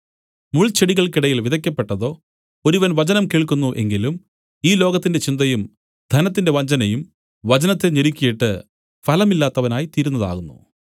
മുൾച്ചെടികൾക്കിടയിൽ വിതയ്ക്കപ്പെട്ടതോ ഒരുവൻ വചനം കേൾക്കുന്നു എങ്കിലും ഈ ലോകത്തിന്റെ ചിന്തയും ധനത്തിന്റെ വഞ്ചനയും വചനത്തെ ഞെരുക്കീട്ട് ഫലമില്ലാത്തവനായി തീരുന്നതാകുന്നു